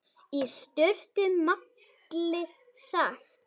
Í stuttu máli sagt.